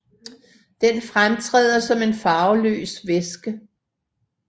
Den fremtræder som en farveløs væske